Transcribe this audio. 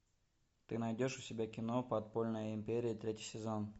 ты найдешь у себя кино подпольная империя третий сезон